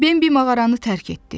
Bambi mağaranı tərk etdi.